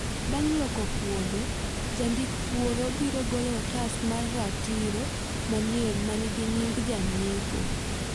Bang' loko puodho jandik puodho biro golo otas mar ratiro manyien ma nigi nying janyiepo